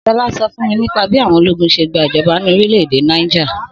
Sọlá sọ fún mi nípa bí àwọn ológun se gba ìjoba ni orílẹ̀-èdè Niger..